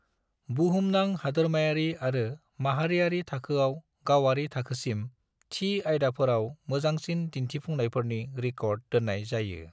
बुहुमनां, हादोरमायारि आरो माहारियारि थाखोआव, गावारि थाखोसिम, थि आयदाफोराव मोजांसिन दिन्थिफुंनायफोरनि रिकॉर्ड दोन्नाय जायो।